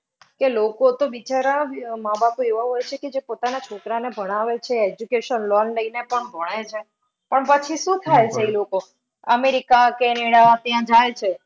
કે લોકો તો બિચારા, માબાપ તો એવા હોય છે કે જે પોતાના છોકરાઓને ભણાવે છે education loan લઈને પણ ભણે છે. પણ પછી અમેરિકા, કેનેડા ત્યાં જાય છે.